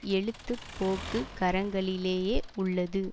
எழுதுபோக்கு கரங்களிலேயே உள்ளது